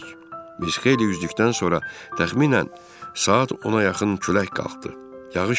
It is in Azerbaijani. Biz xeyli üzdükdən sonra təxminən saat 10-a yaxın külək qalxdı.